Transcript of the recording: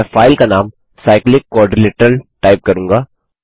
मैं फाइल का नाम cyclic quadrilateral टाइप करूँगा